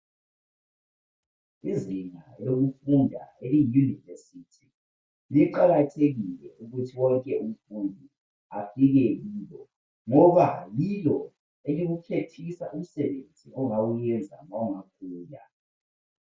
Izinga lokufunda ele university kuqakathekile ukuthi wonke umfundi afike kilo ngoba yilo elikukhethisa umsebenzi ongawenza ma ungakhula.